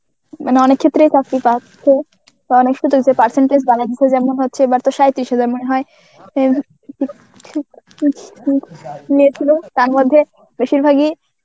মানে অনেক ক্ষেত্রে চাকরি পাচ্ছে বা অনেক ক্ষেত্রে যে percentage বানাইতেছে যেমন হচ্ছে এবার তো সাঁইত্রিশ হাজার মনে হয় উম উম উম উম মেয়ে ছিল তার মধ্যে বেশির ভাগই